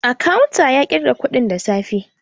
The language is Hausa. A kawun ya ƙirga kuɗin da safe